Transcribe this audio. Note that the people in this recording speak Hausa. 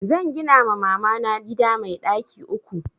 Zan gina ma mamana gida mai ɗaki uku